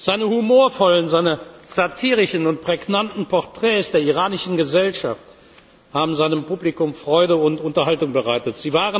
Seine humorvollen, seine satirischen und prägnanten Portraits der iranischen Gesellschaft haben seinem Publikum Freude und Unterhaltung bereitet.